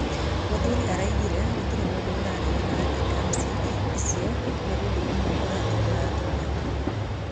Mũthurĩ araugĩre gũtirĩ mũndũũraregana atĩ gamsi ĩcĩo nĩ ũndũũmwe ũrathumbũra atumia mũmo.